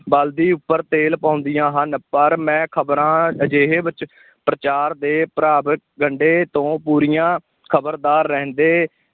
ਬਲਦੀ ਉੱਪਰ ਤੇਲ ਪਾਉਂਦੀਆਂ ਹਨ, ਪਰ ਮੈਂ ਖਬਰਾਂ ਅਜਿਹੇ ਵਿੱਚ ਪ੍ਰਚਾਰ ਦੇ ਤੋਂ ਪੂਰੀਆਂ ਖ਼ਬਰਦਾਰ ਰਹਿੰਦੇ,